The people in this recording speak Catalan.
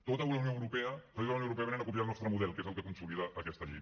tota la unió europea països de la unió europea venen a copiar el nostre model que és el que consolida aquesta llei